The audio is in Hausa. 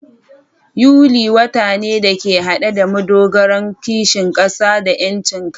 Yuli, wata ne da ke hade da madogaran kishin kasa da 'yancin kai.